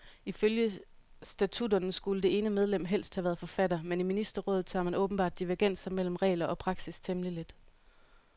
Ifølge statutterne skulle det ene medlem helst have været forfatter, men i ministerrådet tager man åbenbart divergenser mellem regler og praksis temmelig let.